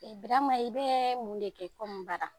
Birama i bɛ mun de kɛ baara?